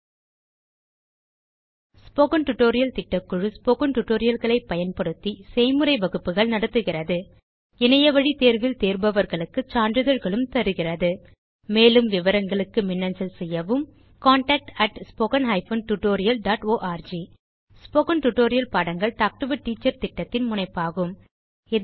spoken tutorial திட்டக்குழு spoken tutorial களை பயன்படுத்தி செய்முறை வகுப்புகள் நடத்துகிறது இணையவழி தேர்வில் தேர்பவர்களுக்கு சான்றிதழ்களும் வழங்குகிறது மேலும் விவரங்களுக்கு மின்னஞ்சல் செய்யவும் contactspoken tutorialorg ஸ்போகன் டுடோரியல் பாடங்கள் டாக் டு எ டீச்சர் திட்டத்தின் முனைப்பாகும்